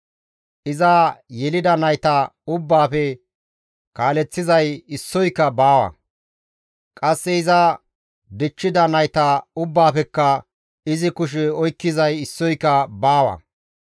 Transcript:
Iza yelida nayta ubbaafe kaaleththizay issoyka baawa; qasse iza dichchida nayta ubbaafekka izi kushe oykkizay issoyka baawa.